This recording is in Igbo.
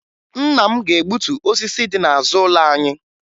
Nna m na-egbutu osisi dị n'azụ ụlọ anyị